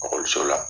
Ekɔliso la